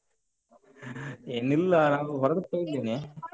ಏನಿಲ್ಲ. ನಾನು ಹೊರಗೋಗ್ತಾ ಇದ್ದೇನೆ.